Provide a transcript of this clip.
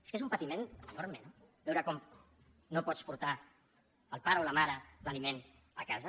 és que és un patiment enorme no veure com no pots portar el pare o la mare l’aliment a casa